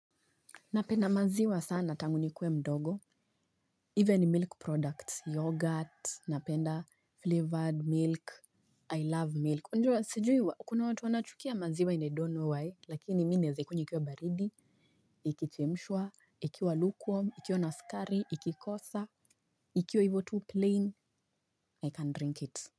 Napenda maziwa sana, tangunikuwe mdogo, even milk products, yogurt, napenda flavored milk, I love milk. Najuwa, sijui, kuna watu wanachukia maziwa inedono wae, lakini mimi naweza ikunywa ikiwa baridi, ikichemshwa, ikiwa lukewarm, ikiwa na sukari, ikikosa, ikiwa hivo tu plain, I can drink it.